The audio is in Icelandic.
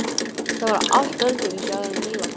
Það var allt öðruvísi áður en Lilla kom.